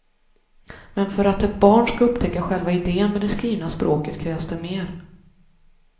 Men för att ett barn skall upptäcka själva idén med det skrivna språket krävs det mer.